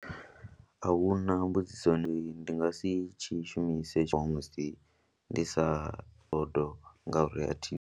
A hu na mbudziso ndi ndi nga si tshi shumise tshiṅwe musi ndi sa bo do ngauri a thi.